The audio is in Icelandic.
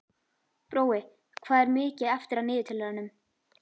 Brói, hvað er mikið eftir af niðurteljaranum?